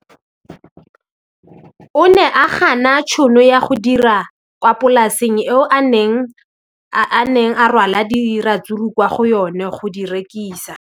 O ne a gana tšhono ya go dira kwa polaseng eo a neng rwala diratsuru kwa go yona go di rekisa.